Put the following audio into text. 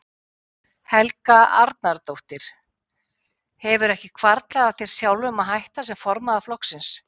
Helga Arnardóttir: Hefur ekki hvarflað að þér sjálfum að hætta sem formaður flokksins?